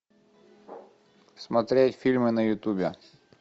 смотреть фильмы на ютубе